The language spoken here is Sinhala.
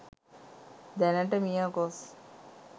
දැනට මියගොස්